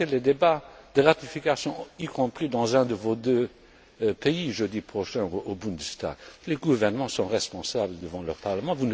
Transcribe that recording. Regardez les débats de ratification, y compris dans un de vos deux pays jeudi prochain, au Bundestag les gouvernements sont responsables devant leur parlement.